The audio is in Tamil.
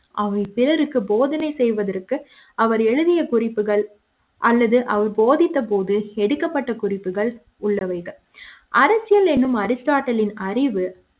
அவை பிறருக்கு போதனை செய்வதற்கு அவர் எழுதிய குறிப்புகள் அல்லது அவர் போதித்த போது எடுக்கப்பட்ட குறிப்புகள் உள்ளவைகள் அரசியல் எனும் அரிஸ்ட்டாட்டிலின் அறிவு